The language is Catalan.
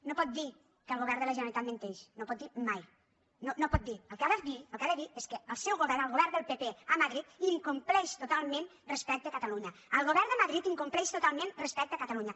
no pot dir que el govern de la generalitat menteix no ho pot dir mai no ho pot dir el que ha de dir el que ha de dir és que el seu govern el govern del pp a madrid incompleix totalment respecte a catalunya el govern de madrid incompleix totalment respecte a catalunya